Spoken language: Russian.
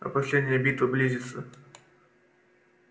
а последняя битва близится